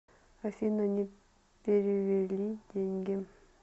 афина не перевели деньги